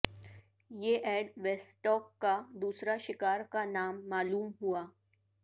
یہ Ed Westock کا دوسرا شکار کا نام معلوم ہوا